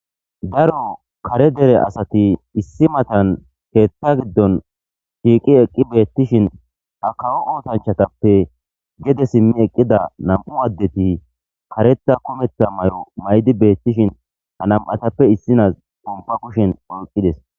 daro kare dere asati issi matan keetta giddon shiiqi eqqi beettishin ha kawo ootanchatappe gede simmi eqqida nam7u addeti kareta kumetha mayo maydi beettishin ha nam7atappe issinas pompa kushen oyqqides